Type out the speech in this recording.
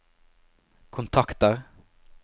kontakter